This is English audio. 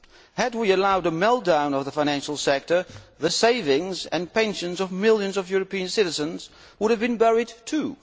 Had we allowed a meltdown of the financial sector, the savings and pensions of millions of European citizens would have been buried too.